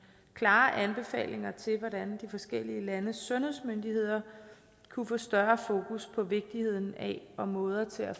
klare anbefalinger til hvordan de forskellige landes sundhedsmyndigheder kunne få større fokus på vigtigheden af og måder til at